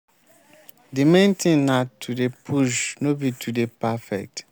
build di habits wey go help you fit achieve di thing wey you get for mind to achieve